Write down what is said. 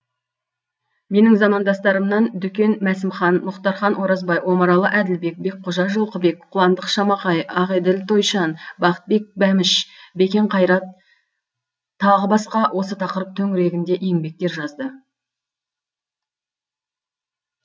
менің замандастарымнан дүкен мәсімхан мұхтархан оразбай омаралы әділбек бекқожа жылқыбек қуандық шамақай ақеділ тойшан бақытбек бәміш бекен қайрат тағы басқа осы тақырып төңірегінде еңбектер жазды